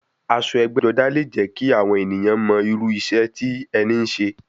Aṣọ ẹgbẹ́-jọdá leè jẹ́ kí àwọn èèyàn mọ irú iṣẹ́ tí ẹni ń ṣe.